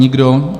Nikdo.